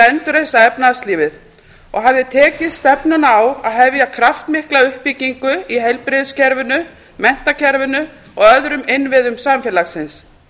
endurreisa efnahagslífið og hafði tekið stefnuna á að hefja kraftmikla uppbyggingu í heilbrigðiskerfinu menntakerfinu og öðrum innviðum samfélagsins